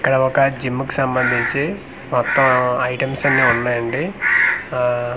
ఇక్కడ ఒక జిమ్ కీ సంబందించి మొత్తం ఐటమ్స్ అన్ని ఉన్నాయండి ఆ కిన్--